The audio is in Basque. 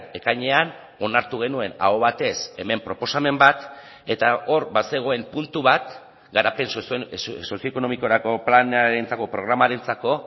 ekainean onartu genuen aho batez hemen proposamen bat eta hor bazegoen puntu bat garapen sozioekonomikorako planarentzako programarentzako